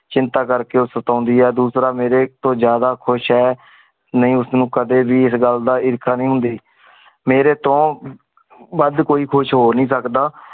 ਚਿੰਤਾ ਕਰਕੇ ਓ ਸਤਾਉਂਦੀ ਹੈ ਦੂਸਰਾ ਮੇਰੇ ਤੋਂ ਜਿਆਦਾ ਖੁਸ ਹੈ ਨੀ ਉਸਨੂੰ ਕਦੇ ਵੀ ਇਸ ਗੱਲ ਦਾ ਈਰਖਾ ਨਹੀਂ ਹੁੰਦੀ। ਮੇਰੇ ਤੋਂ ਵੱਧ ਕੋਈ ਖੁਸ ਹੋ ਨਹੀਂ ਸਕਦਾ।